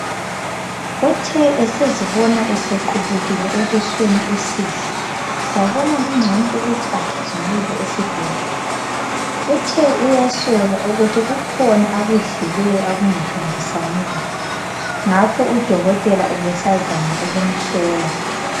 Uthe esezibona esequbukile ebusweni uSihle wabona kungcono ukuthi agijimele esibhedlela. Uthe uyasola ukuthi kukhona akudlileyo okungahambisani laye ngakho udokotela ubesazama ukumhlola.